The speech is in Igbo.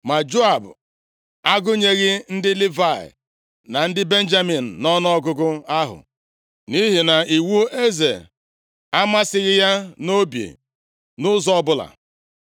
Ma Joab agụnyeghị ndị Livayị, na ndị Benjamin nʼọnụọgụgụ ahụ, nʼihi na iwu eze amasịghị ya nʼobi nʼụzọ ọbụla.